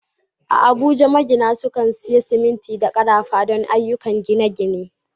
A Abuja, magina sukan sayi siminti da karafa don ayyukan gine-gine.